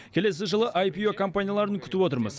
келесі жылы айпио компанияларын күтіп отырмыз